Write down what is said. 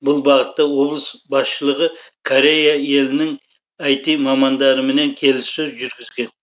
бұл бағытта облыс басшылығы корея елінің іт мамандарымен келіссөздер жүргізген